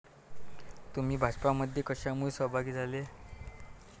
तुम्ही भाजपमध्ये कशामुळे सहभागी झाले?